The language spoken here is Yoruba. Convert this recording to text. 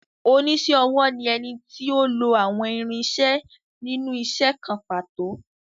Oníṣẹ́-ọwọ́ ni ẹni tí ó lo àwọn irinṣẹ́ nínú isẹ́ kan pàtó.